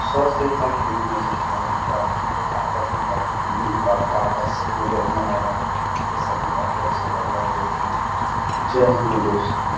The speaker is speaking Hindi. सौ से कम नहीं हो सकता है देखिए आप आस-पास में काफी बिल्डिंग जो काफी आकर्षक नजर में आ रहे है ये सब भी काफी अच्छा लग रहा है देखने में जय हिन्द दोस्तो।